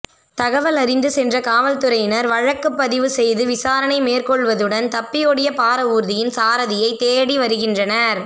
தகவல் அறிந்து சென்ற காவல்துறையினர் வழக்குப்பதிவு செய்து விசாரணை மேற்கொள்வதுடன் தப்பியோடிய பாரவூர்தியின் சாரதியை தேடி வருகின்றனர்